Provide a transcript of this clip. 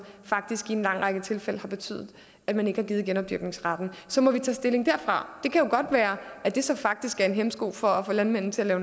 faktisk i en lang række tilfælde har betydet at man ikke har givet genopdyrkningsretten så må vi tage stilling derfra det kan jo godt være at det så faktisk er en hæmsko for at få landmændene til at